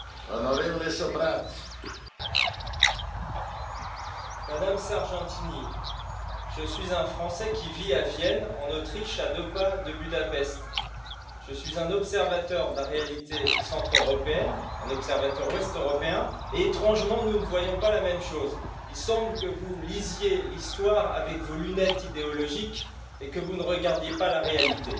Monsieur le Président, Monsieur le Premier ministre, Madame Sargentini, je suis un Français qui vit à Vienne, en Autriche, à deux pas de Budapest. Je suis un observateur de la réalité centre-européenne, un observateur ouest-européen et, étrangement, nous ne voyons pas la même chose. Il semble que vous lisiez l'histoire avec vos lunettes idéologiques et que vous ne regardiez pas la réalité.